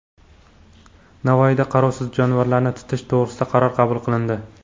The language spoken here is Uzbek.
Navoiyda qarovsiz jonivorlarni tutish to‘g‘risida qaror qabul qilindi.